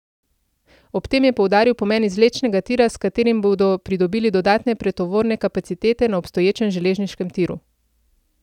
Ob tem je poudaril pomen izvlečnega tira, s katerim bodo pridobili dodatne pretovorne kapacitete na obstoječem železniškem tiru.